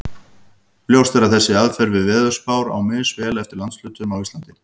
Ljóst er að þessi aðferð við veðurspár á misvel við eftir landshlutum á Íslandi.